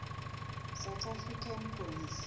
south african police